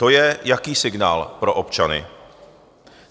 To je jaký signál pro občany?